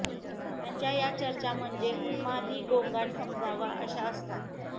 त्यांच्या या चर्चा म्हणजे उन्मादी गोंगाट समजावा अशा असतात